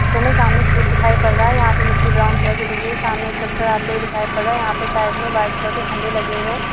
खेत दिखाई पड़ रहा है यहाँ पे मिट्टी ब्राउन कलर की दिख रही है सामने टैक्टर आते हुए दिखाई पड़ रहा है यहाँ पर साइड में वाईट कलर के खंभे लगे हुए है।